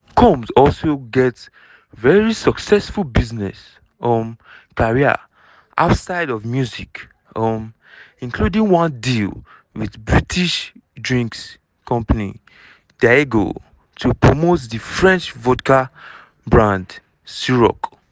combs also get very successful business um career outside of music um including one deal wit british drinks company diageo to promote di french vodka brand cîroc.